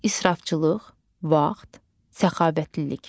İsrafçılıq, vaxt, səxavətlilik.